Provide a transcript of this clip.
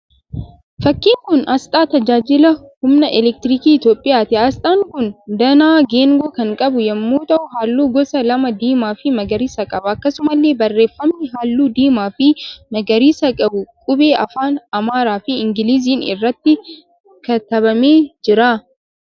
Fakkiin kun asxaa tajaajila humna 'elektirikii' Itiyoopiyaati. Asxaan kun danaa geengoo kan qabu yemmuu ta'u halluu gosa lama diimaa fi magariisa qaba. Akkasumallee barreeffamni halluu diimaa fi magariisa qabu qubee afaan Amaaraa fi Ingiliziin irratti katabamee jira.